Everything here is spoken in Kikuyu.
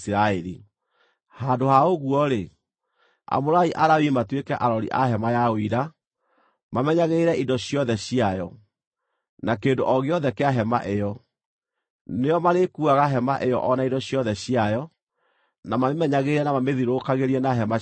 Handũ ha ũguo-rĩ, amũrai Alawii matuĩke arori a hema ya Ũira, mamenyagĩrĩre indo ciothe ciayo, na kĩndũ o gĩothe kĩa hema ĩyo. Nĩo marĩkuuaga hema ĩyo o na indo ciothe ciayo; na mamĩmenyagĩrĩre na mamĩthiũrũrũkagĩrie na hema ciao.